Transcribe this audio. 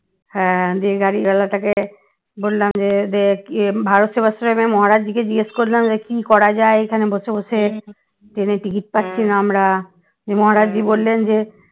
হ্যাঁ দিয়ে গাড়িওয়ালা টাকে বললাম যে যে ইয়ে ভারত সেবাশ্রমের মহারাজ জি কে জিজ্ঞাসা করলাম যে কি করা যায় এখানে বসে বসে ট্রেনের ticket পাচ্ছিনা আমরা মহারাজ জি বললেন যে